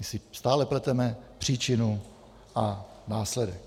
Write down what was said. My si stále pleteme příčinu a následek.